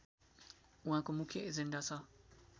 उहाँको मुख्य एजेन्डा छ